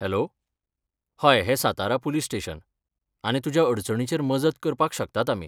Hello, हय हें Satara police station आनी तुज्या अडचणीचेर मजत करपाक शकतात आमी.